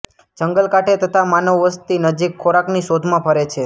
જંગલ કાંઠે તથા માનવવસ્તી નજીક ખોરાકની શોધમાં ફરે છે